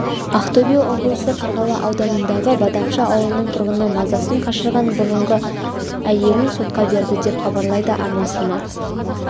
ақтөбе облысы қарғалы ауданындағы бадамша ауылының тұрғыны мазасын қашырған бұрынғы әйелін сотқа берді деп хабарлайды арнасына